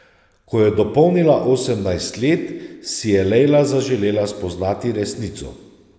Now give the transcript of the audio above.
Ko je dopolnila osemnajst let, si je Lejla zaželela spoznati resnico.